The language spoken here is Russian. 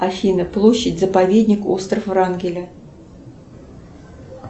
афина площадь заповедник остров врангеля